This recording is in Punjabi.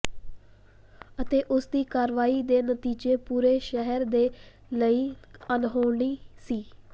ਅਤੇ ਉਸ ਦੀ ਕਾਰਵਾਈ ਦੇ ਨਤੀਜੇ ਪੂਰੇ ਸ਼ਹਿਰ ਦੇ ਲਈ ਅਣਹੋਣੀ ਸੀ